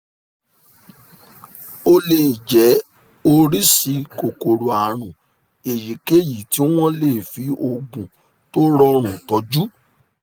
ó lè jẹ́ oríṣi kòkòrò àrùn èyíkéyìí tí wọ́n lè fi oògùn tó rọrùn tọ́jú